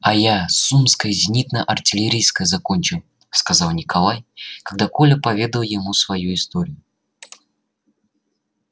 а я сумское зенитно-артиллерийское закончил сказал николай когда коля поведал ему свою историю